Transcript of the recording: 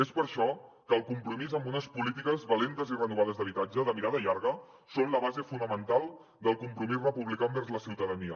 és per això que el compromís amb unes polítiques valentes i renovades d’habitatge de mirada llarga són la base fonamental del compromís republicà envers la ciutadania